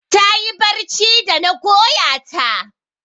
Ta yi barci da na goya ta.